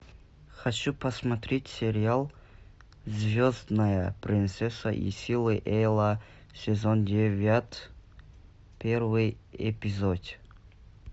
хочу посмотреть сериал звездная принцесса и силы зла сезон девять первый эпизод